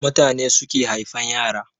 Mutane suke haifan yara